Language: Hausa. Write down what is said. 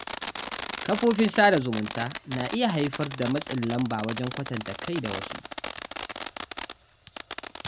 Kafofin sada zumunta na iya haifar da matsin lamba wajen kwatanta kai da wasu.